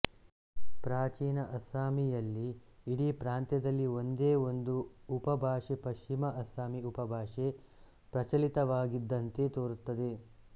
ಪ್ರಾಚೀನ ಅಸ್ಸಾಮೀಯಲ್ಲಿ ಇಡೀ ಪ್ರಾಂತ್ಯದಲ್ಲಿ ಒಂದೇ ಒಂದು ಉಪಭಾಷೆಪಶ್ಚಿಮ ಅಸ್ಸಾಮಿ ಉಪಭಾಷೆಪ್ರಚಲಿತವಾಗಿದ್ದಂತೆ ತೋರುತ್ತದೆ